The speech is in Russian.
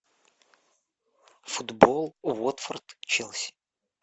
футбол уотфорд челси